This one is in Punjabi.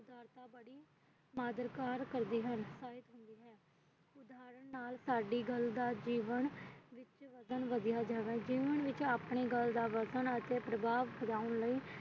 ਖਾਤਿਰਦਾਰ ਕਰਦੇ ਹਨ ਸਾਡੀ ਗੱਲ ਦਾ ਵਧੀਆਂ ਜਾਦਾ ਜੀਵਨ ਵਿੱਚ ਆਪਣੀ ਗੱਲਾ